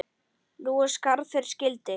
Nú er skarð fyrir skildi.